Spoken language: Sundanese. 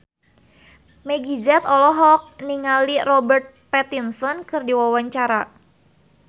Meggie Z olohok ningali Robert Pattinson keur diwawancara